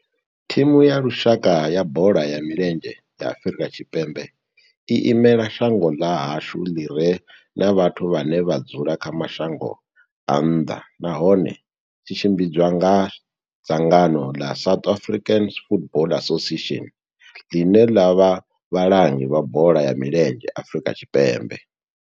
Thimu ya lushaka ya bola ya milenzhe ya Afrika Tshipembe i imela shango ḽa hashu ḽi re na vhathu vhane vha dzula kha mashango a nnḓa, nahone tshi tshimbidzwa nga dzangano la South African Football Association, line la vha vhalangi vha bola ya milenzhe Afrika Tshipembe.